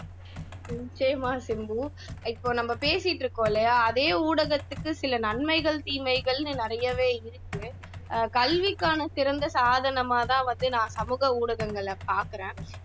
நிச்சயமா சிம்பு இப்போ நம்ம பேசிகிட்டு இருக்கோம் இல்லையா அதே ஊடகத்துக்கு சில நன்மைகள் தீமைகள்னு நிறையவே இருக்கு அஹ் கல்விக்கான சிறந்த சாதனமாதான் நான் பாக்கிறேன்